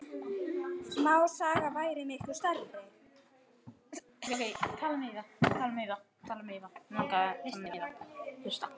Smásaga væri miklu nær sanni.